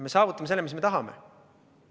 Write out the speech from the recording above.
Me saavutame selle, mis me tahame.